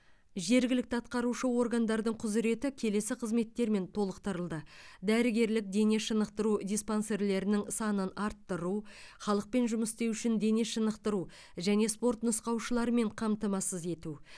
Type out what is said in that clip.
жергілікті атқарушы органдардың құзыреті келесі қызметтермен толықтырылды дәрігерлік дене шынықтыру диспансерлерінің санын арттыру халықпен жұмыс істеу үшін дене шынықтыру және спорт нұсқаушыларымен қамтамасыз ету